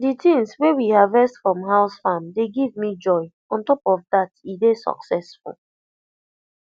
the things wey we harvest from house farm dey give me joy ontop of that e dey successful